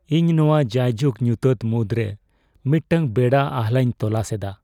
ᱤᱧ ᱱᱚᱶᱟ ᱡᱟᱭᱡᱩᱜ ᱧᱩᱛᱟᱹᱛ ᱢᱩᱫᱽᱨᱮ ᱢᱤᱫᱴᱟᱝ ᱵᱮᱲᱟ ᱟᱦᱞᱟᱧ ᱛᱚᱞᱟᱥ ᱮᱫᱟ ᱾